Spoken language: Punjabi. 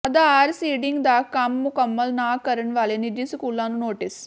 ਆਧਾਰ ਸੀਡਿੰਗ ਦਾ ਕੰਮ ਮੁੰਕਮਲ ਨਾ ਕਰਨ ਵਾਲੇ ਨਿੱਜੀ ਸਕੂਲਾਂ ਨੂੰ ਨੋਟਿਸ